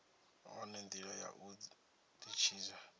wane ndila ya u ditshidza